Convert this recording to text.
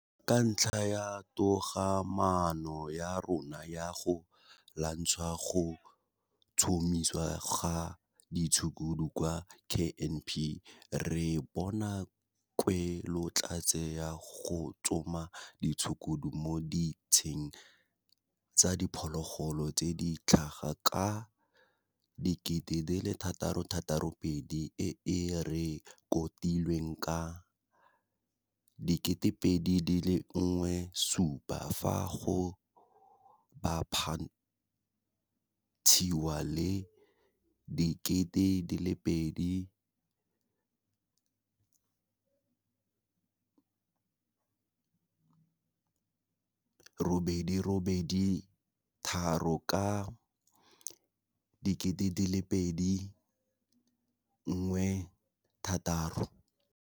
Ka ntlha ya togamaano ya rona ya go lwantsha go tsomiwa ga ditshukudu kwa KNP re bona kwelotlase ya go tsoma ditshukudu mo ditsheng tsa diphologolo tse di tlhaga, ka 2662 e e rekotilweng ka 2017 fa go bapantshiwa le 2883 ka 2016.